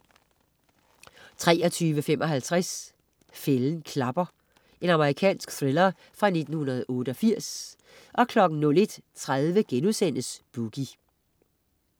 23.55 Fælden klapper. Amerikansk thriller fra 1988 01.30 Boogie*